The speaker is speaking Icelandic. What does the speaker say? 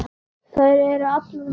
Þær eru allar um Kol.